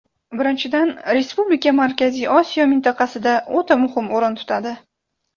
Birinchidan, respublika Markaziy Osiyo mintaqasida o‘ta muhim o‘rin tutadi.